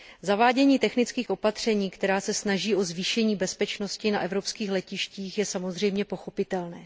Zavádění technických opatření, která se snaží o zvýšení bezpečnosti na evropských letištích, je samozřejmě pochopitelné.